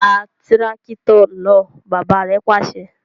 Tá tìràkitọ náà! bàbà rẹ pàṣẹ